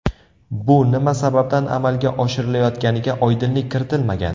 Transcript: Bu nima sababdan amalga oshirilayotganiga oydinlik kiritilmagan.